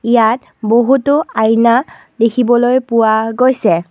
ইয়াত বহুতো আইনা দেখিবলৈ পোৱা গৈছে।